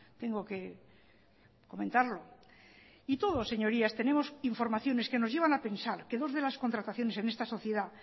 tengo que comentarlo y todos señorías tenemos informaciones que nos llevan a pensar que dos de las contrataciones en esta sociedad